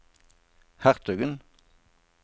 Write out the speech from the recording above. hertugen